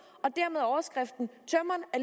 og